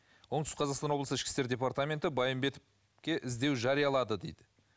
оңтүстік қазақстан облысы ішкі істер департаменті байымбетовке іздеу жариялады дейді